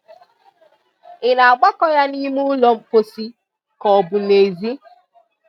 Ị na-agbakọ ya n'ime ụlọ mposi ka ọ bụ n'ezi?